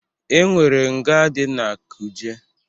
E nwere nga dị na Kuje.